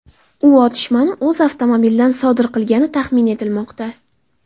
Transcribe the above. U otishmani o‘z avtomobilidan sodir qilgani taxmin etilmoqda.